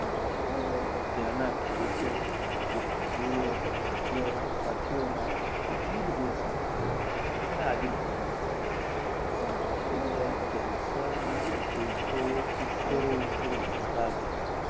ત્યાં ના ખેડૂતો ખેત મજૂરો ભાગિયાઓ સાથીઓ માં એટલી બધી અસર થઇ અને આજુ બાજુ ના પર્યાવરણ માં કે ત્યાં cancer ના કેસો ઉત્તરો ઉત્તર વધતા ગયા